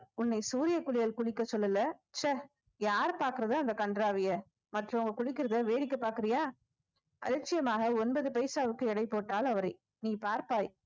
உன்னை சூரிய குளியல் குளிக்க சொல்லல ச்ச யாரு பாக்குறது அந்த கன்றாவியை மற்றவங்க குளிக்கறதை வேடிக்கை பாக்குறியா அலட்சியமாக ஒன்பது பைசாவுக்கு எடை போட்டாள் அவரை நீ பார்ப்பாய்